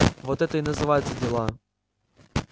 вот это и называется дела